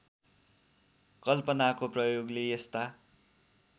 कल्पनाको प्रयोगले यस्ता